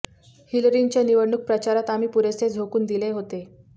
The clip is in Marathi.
हिलरींच्या निवडणूक प्रचारात आम्ही पुरेसे झोकून दिले होते